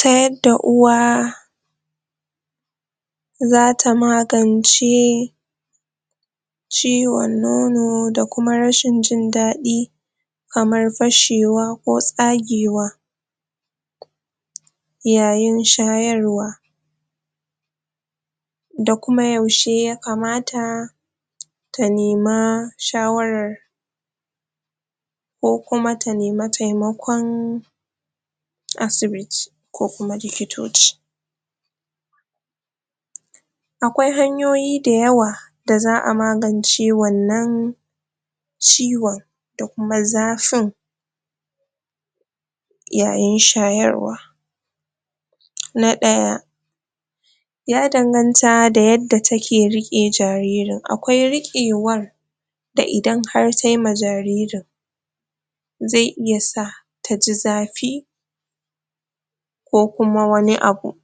Ta yadda uwa zata magance ciwon nono da kuma rashin jin daɗi kamar fashewa ko tsagewa yayin shayarwa da kuma yaushe ya kamata ta nema shawarar ko kuma ta nema taimakon asibiti ko kuma likitoci Akwai hanyoyi dayawa da za a magance wannan ciwon da kuma zafin yayin shayarwa na ɗaya ya danganta da yadda take riƙe jaririn Akwai riƙewar da idan har tayi ma jaririn zai iya sa ta ji zafi ko kuma wani abu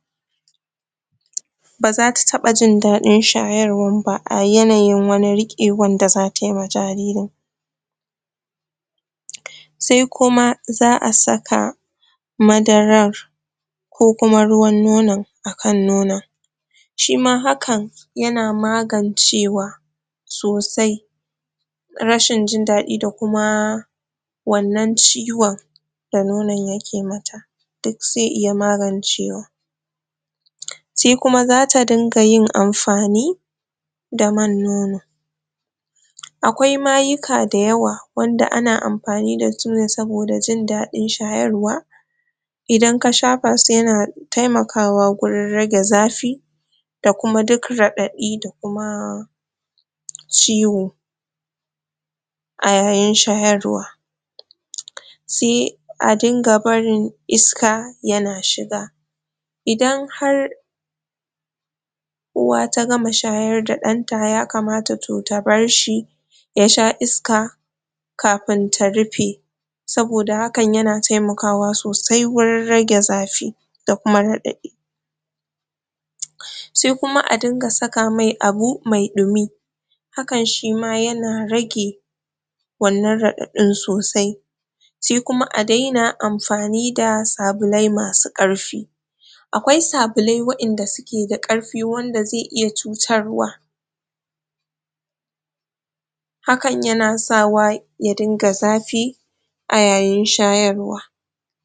ba zata taɓa jin daɗin shayarwan ba a yanayin wani riƙewan da zata yi ma jaririn sai kuma za a saka madaran ko kuma ruwan nonon a kan nonon shima hakan yana magancewa sosai rashin jin daɗi da kuma wannan ciwon da nonon yake mata duk zai iya magancewa Sai kuma za ta dinga yinnamfani da man nono akwai mayuka dayawa wanda ana amfani da su ne saboda jin daɗin shayarwa Idan ka shafa su yana taimakawa gurin rage zafi da kuma duk raɗaɗi da kuma ciwo a yayin shayarwa Sai a dinga barin iska yana shiga idan har uwa da gama shayar da ɗan ta ya kamata to ta bar shi ya sha iska kafin ta rufe saboda hakan yana taimakawa sosai wuri rage zafi da kuma raɗaɗi sai kuma dinga sa mai abu mai ɗumi hakan shima yana rage wannan raɗaɗin sosai sai kuma a daina amfani da sabulai masu ƙarfi Akwai sabulai wa'innan suke da ƙarfi wanda zai iya cutarwa hakan yana sawa ya dinga zafi a yayin shayarwa.